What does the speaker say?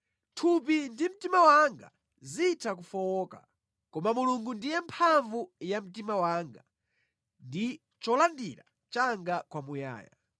Thupi ndi mtima wanga zitha kufowoka, koma Mulungu ndiye mphamvu ya mtima wanga ndi cholandira changa kwamuyaya.